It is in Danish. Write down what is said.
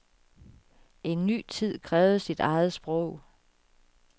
En ny tid krævede sit eget sprog.